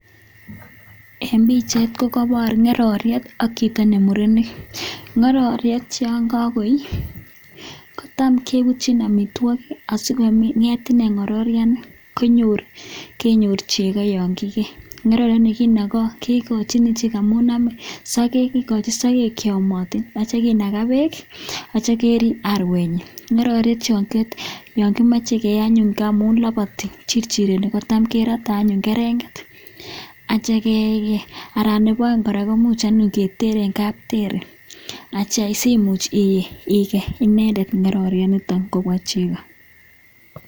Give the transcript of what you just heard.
En pichait kokobor ng'ororiet ak chito ne murenik, ng'ororiet yon kago ii, kotam kebutyin amitwogik asi kong'et ine ng'ororyani, kenyor chego yon kigee. Ng'ororyani kigochin ichek amune ame sogek kigochin sogek che yomotin ak kityo kinaga beek ak kityo kerib arwenyin. Ng'ororyet yon kimochi kegei anyun, ngamun loboti chirchireni kotam kerote anyun kerenget ak kityo kegei anan nebo oeng kora koimuc anyun keter en teri simuch igei inendet ng'ororyanito kobwa chego.